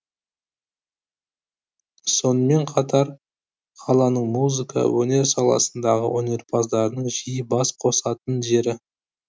сонымен қатар қаланың музыка өнер саласындағы өнерпаздарының жиі бас қосатын жері